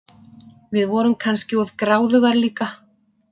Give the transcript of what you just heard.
Við vorum kannski of gráðugar líka.